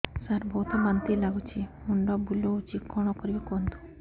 ସାର ବହୁତ ବାନ୍ତି ଲାଗୁଛି ମୁଣ୍ଡ ବୁଲୋଉଛି କଣ କରିବି କୁହନ୍ତୁ